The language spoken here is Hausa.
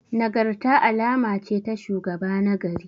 Nagarta alama ce ta shugaba nagari.